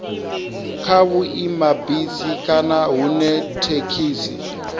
kha vhuimabisi kana hune thekhisi